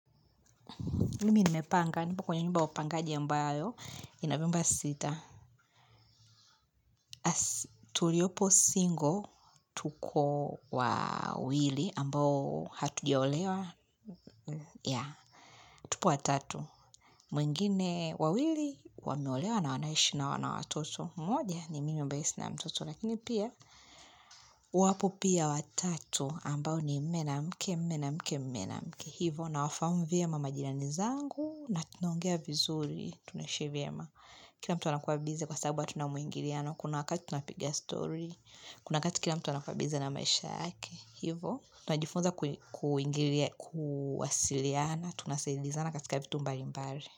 Mimi nimepanga, nipo kwenye nyumba ya upangaji mbayo, inavyumba sita. Tuliopo singo, tuko wawili ambao hatujaolewa, ya, tupo watatu. Mwingine wawili, wameolewa na wanaishi na wana watoto. Mmoja ni mimi ambaye sina mtoto, lakini pia, wapo pia watatu ambao ni mume na mke, mume na mke, mume na mke. Hivo, nawafahamu vyema majirani zangu, na tunaongea vizuri, tunaishi vyema Kila mtu anakuwa bize kwa sababu hatuna muingiliano. Kuna wakati tunapiga story. Kuna wakati kila mtu anakuwa bize na maisha yake. Hivo. Tunajifunza kuwasiliana. Tunaseliza na katika vitu mbali mbali.